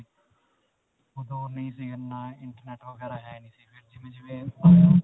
ਓਦੋਂ ਨਹੀਂ ਸੀ ਇੰਨਾ internet ਵਗੈਰਾ ਹੈ ਨਹੀਂ ਸੀ ਫਿਰ ਜਿਵੇਂ-ਜਿਵੇਂ